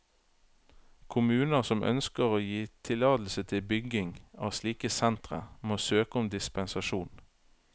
Kommuner som ønsker å gi tillatelse til bygging av slike sentre, må søke om dispensasjon.